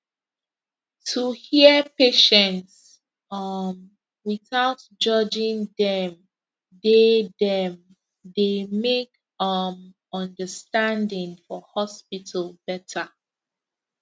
to hear patients um without judging dem dey dem dey make um understanding for hospital better